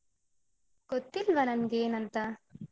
ಗೊತ್ತಿಲ್ವ ನನ್ಗ್ ಏನಂತ.